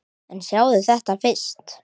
En sjáðu þetta fyrst!